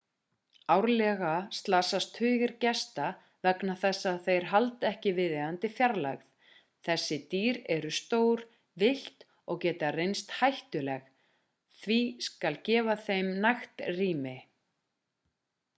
árlega slasast tugir gesta vegna þess að þeir halda ekki viðeigandi fjarlægð þessi dýr eru stór villt og geta reynst hættuleg því skal gefa þeim nægt rými